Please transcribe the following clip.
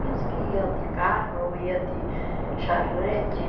Pensa que ia de carro, ia de charrete.